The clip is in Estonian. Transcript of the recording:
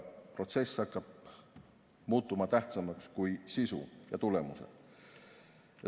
Protsess hakkab muutuma tähtsamaks kui sisu ja tulemused.